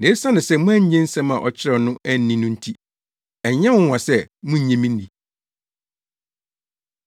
Na esiane sɛ moannye nsɛm a ɔkyerɛw no anni no nti, ɛnyɛ nwonwa sɛ munnye me nni.”